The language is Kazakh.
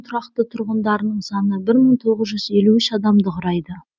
тұрақты тұрғындардың саны бір мың тоғыз жүз елу үш адамды құрайды